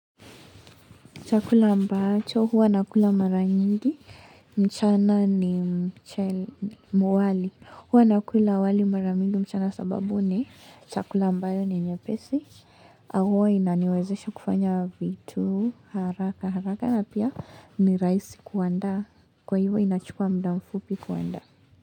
Chakula ambacho huwa nakula mara mingi mchana ni wali huwa nakula wali mara mingi mchana sababu ni chakula ambayo ni nyepesi na huwa inaniwezesha kufanya vitu haraka haraka na pia ni raisi kuandaa kwa hivyo inachukua mda mfupi kuandaa.